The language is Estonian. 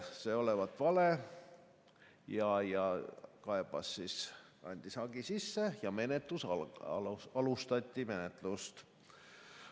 Ta andis hagi sisse ja alustati menetlust.